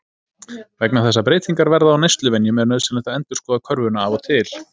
Vegna þess að breytingar verða á neysluvenjum er nauðsynlegt að endurskoða körfuna af og til.